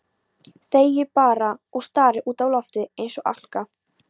Þegir bara og starir út í loftið eins og álka.